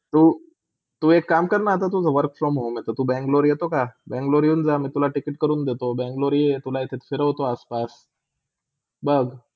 तु, तु एक काम करना आता तुझा work from home आता ते तू Bangalore येतो का? Bangalore येऊन जा, मी तुला ticket कडून देतो. Bangalore ये तुला इथे फिरोतो आस -पास, बघ.